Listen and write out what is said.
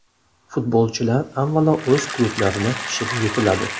Futbolchilar avvalo o‘z klublarida pishib yetiladi.